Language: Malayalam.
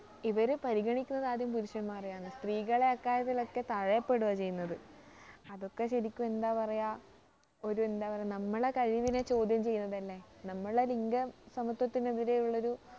ഇവര് പരിഗണിക്കുന്നത് ആദ്യം പുരുഷൻമാരെ ആണ് സ്ത്രീകളെ അക്കാര്യത്തിലൊക്കെ തഴയപ്പെടുകയാ ചെയ്യുന്നത് അതൊക്കെ ശരിക്കും എന്താ പറയാ ഒരുഎന്താ പറയാ നമ്മളെ കഴിവിനെ ചോദ്യം ചെയ്യുന്നതല്ലേ നമ്മുടെ ലിംഗസമത്വത്തിനു എതിരെ ഉള്ളൊരു